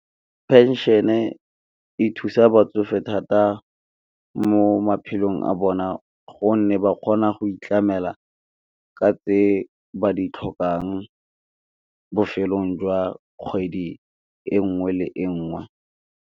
Pension-e e thusa batsofe thata mo maphelong a bona, gonne ba kgona go itlamela ka tse ba di tlhokang, bofelong jwa kgwedi e nngwe le e nngwe.